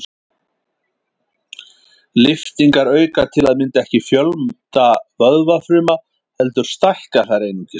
Lyftingar auka til að mynda ekki fjölda vöðvafruma heldur stækka þær einungis.